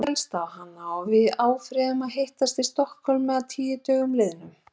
Hann féllst á hana og við afréðum að hittast í Stokkhólmi að tíu dögum liðnum.